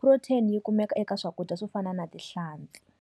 Protein yi kumeka eka swakudya swo fana na tihlampfi.